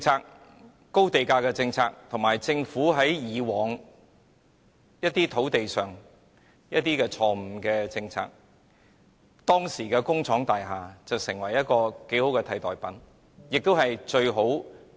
由於高地價政策和政府以往提出的一些錯誤土地政策，工廠大廈成為一個頗為不錯的替代品。